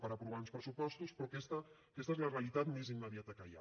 per aprovar uns pressupostos però aquesta és la realitat més immediata que hi ha